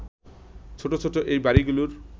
ছোট ছোট এই বাড়িগুলোর